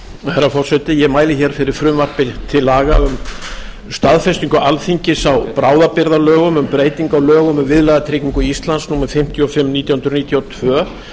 herra forseti ég mæli fyrir frumvarpi til laga um staðfestingu alþingis á bráðabirgðalögum um breytingu á lögum um viðlagatryggingu íslands númer fimmtíu og fimm nítján hundruð níutíu og tvö